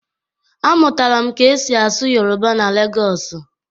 Amụtara m ka esi asụ Yoruba na Legosu